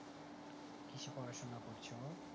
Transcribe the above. কিসে পড়াশোনা করছে ও?